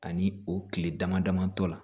Ani o kile dama dama tɔ la